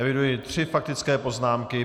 Eviduji tři faktické poznámky.